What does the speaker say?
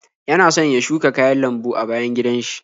Yana son ya shuka kayan lambu a bayan gidan shi.